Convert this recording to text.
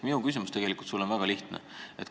Minu küsimus sulle on väga lihtne.